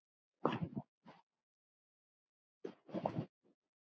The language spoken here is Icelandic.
Síðan eru liðin mörg ár.